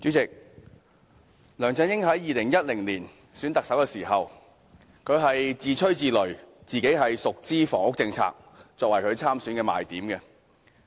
代理主席，梁振英在2011年競選特首時，自吹自擂，以自己熟悉房屋政策為其參選的賣點。